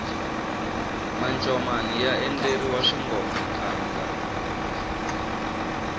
mancomani ya endleriwa swingomantanda